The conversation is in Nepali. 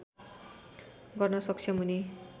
गर्न सक्षम हुने